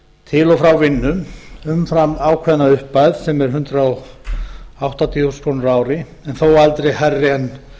til og frá vinnu umfram ákveðna upphæð sem er hundrað áttatíu þúsund krónur á ári en þó aldrei hærri en